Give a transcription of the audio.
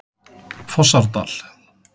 Fossárdal